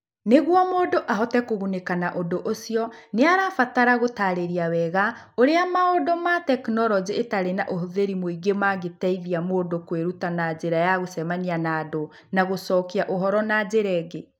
Nĩguo mũndũ ahote kũgunĩka na ũndũ ũcio, nĩ arabatara gũtarĩria wega ũrĩa maũndũ ma tekinoronjĩ ĩtarĩ na ũhũthĩri mũingĩ mangĩteithia mũndũ kwĩruta na njĩra ya gũcemania na andũ na gũcokia ũhoro na njĩra ĩngĩ.